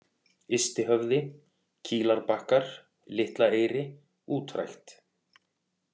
Ystihöfði, Kílarbakkar, Litlaeyri, Útrækt